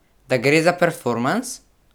Da gre za performans?